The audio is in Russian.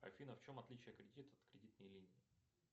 афина в чем отличие кредита от кредитной линии